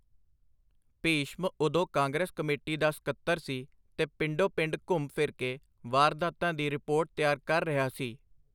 ਭੀਸ਼ਮ ਉਦੋਂ ਕਾਂਗਰਸ ਕਮੇਟੀ ਦਾ ਸਕੱਤਰ ਸੀ, ਤੇ ਪਿੰਡੋ-ਪਿੰਡ ਘੁੰਮ-ਫਿਰ ਕੇ ਵਾਰਦਾਤਾਂ ਦੀ ਰਿਪੋਰਟ ਤਿਆਰ ਕਰ ਰਿਹਾ ਸੀ.